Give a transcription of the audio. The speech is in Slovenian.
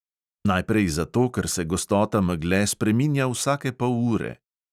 Najprej zato, ker se gostota megle spreminja vsake pol ure.